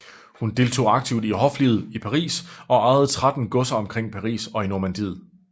Hun deltog aktivt i hoflivet i Paris og ejede tretten godser omkring Paris og i Normandiet